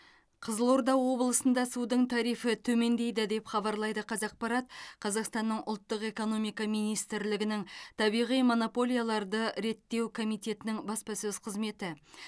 қызылорда облысында судың тарифі төмендейді деп хабарлайды қазақпарат қазақстанның ұлттық экономика министрлігінің табиғи монополияларды реттеу комитетінің баспасөз қызметі